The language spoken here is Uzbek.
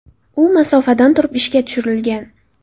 U masofadan turib ishga tushirilgan.